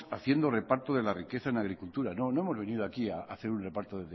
haciendo reparto de la riqueza en agricultura no no hemos venido aquí a hacer un reparto